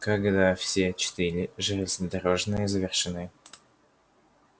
когда все четыре железнодорожные завершены